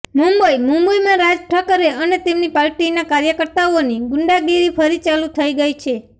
મુંબઈઃ મુંબઈમાં રાજ ઠાકરે અને તેમની પાર્ટીના કાર્યકર્તાઓની ગુંડાગીરી ફરી ચાલુ થઈ ગઈ છે